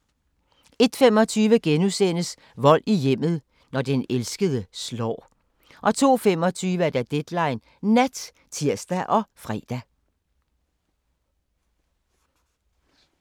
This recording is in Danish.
01:25: Vold i hjemmet – når den elskede slår * 02:25: Deadline Nat (tir og fre)